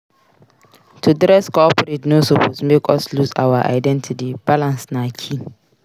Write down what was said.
To dress corporate no suppose make us lose our identity; balance na key.